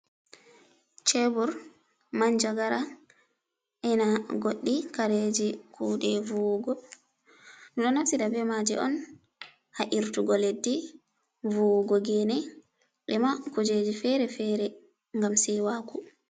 Chebur, man jagara ena goddi kareji kude vuwugo do naftida be maje on hairtugo leddi, vuwugo gene e ma kujeji fere fere gam sewaku.